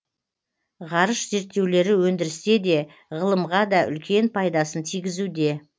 ғарыш зерттеулері өндірісте де ғылымға да үлкен пайдасын тигізуде